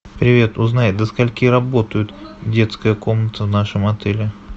привет узнай до скольки работает детская комната в нашем отеле